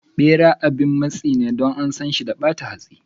Bera abin matsi ne Don ansan shi da bata hatsi.